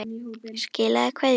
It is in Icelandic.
Skilaðu kveðju!